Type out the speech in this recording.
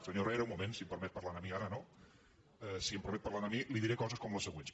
senyor herrera un moment si em permet parlar a mi ara no si em permet parlar a mi li diré coses com les següents